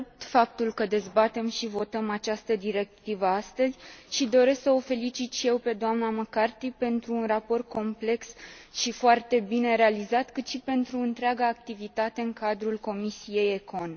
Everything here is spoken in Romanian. Salut faptul că dezbatem și votăm această directivă astăzi și doresc să o felicit și eu pe dna McCarthy atât pentru un raport complex și foarte bine realizat, cât și pentru întreaga activitate în cadrul Comisiei ECON.